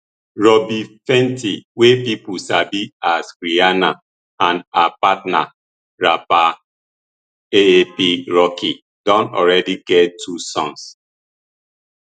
robyn fenty wey pipo sabi as rihanna and her partner rapper aap rocky don already get two sons